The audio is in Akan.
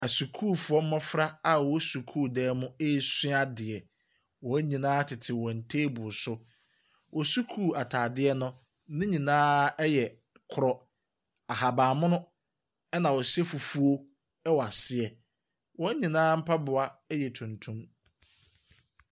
Asukuufoɔ mmɔfra a wɔwɔ sukuudan mu resua adeɛ. Wɔn nyinaa tete wɔn table so. Wɔn sukuu atadeɛ no, ne nyinaa yɛ korɔ, ahaban mono, ɛnna wɔhyɛ fufuo wɔ aseɛ. Wɔn nyinaa mpaboa yɛ tuntum.